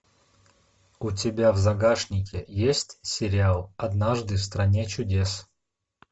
у тебя в загашнике есть сериал однажды в стране чудес